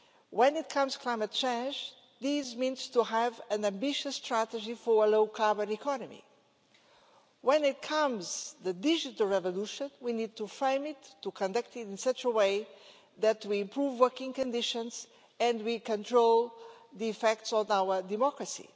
When it comes to climate change, this means having an ambitious strategy for a low carbon economy. When it comes to the digital revolution, we need to frame it, to conduct it in such a way that we improve working conditions and we control the effects on our democracy.